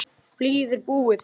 Blýið er búið.